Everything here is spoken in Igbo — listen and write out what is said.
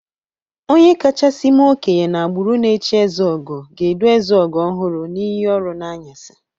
Onye kachasi mee okenye n'agbụrụ na echi ezeogo ga-edu ezeogo ọhụrụ n'iyi ọrụ n'anyasị.